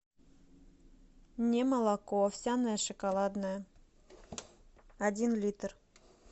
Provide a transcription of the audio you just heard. немолоко овсяное шоколадное один литр